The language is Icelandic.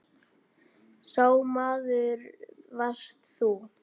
Sá maður varst þú.